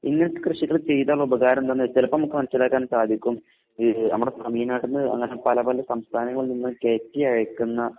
ഇങ്ങനത്തെ കൃഷികള് ചെയ്താൽ ഉള്ള ഉപകാരം എന്താന്നുവെച്ചാൽ ചിലപ്പോ നമുക്ക് മനസ്സിലാക്കാൻ സാധിക്കും ഈ നമ്മുടെ തമിഴ്നാട്ടിൽനിന്ന് അങ്ങനെ പല പല സംസ്ഥാനങ്ങളിൽനിന്ന് കേറ്റി അയക്കുന്ന